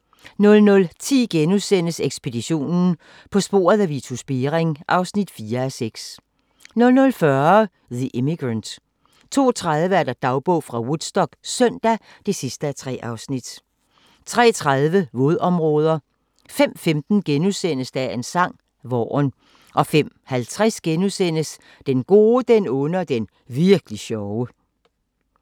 00:10: Ekspeditionen – På sporet af Vitus Bering (4:6)* 00:40: The Immigrant 02:30: Dagbog fra Woodstock - søndag (3:3) 03:30: Vådområder 05:15: Dagens sang: Vaaren * 05:50: Den gode, den onde og den virkli' sjove *